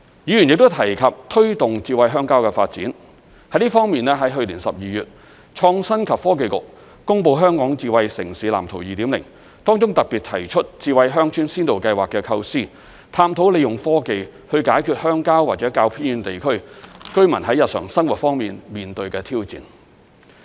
議員亦都提及推動"智慧鄉郊"的發展，在這方面，在去年12月，創新及科技局公布《香港智慧城市藍圖 2.0》，當中特別提出智慧鄉村先導計劃的構思，探討利用科技解決鄉郊或較偏遠地區居民在日常生活方面面對的挑戰。